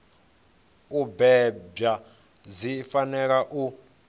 u bebwa dzi fanela u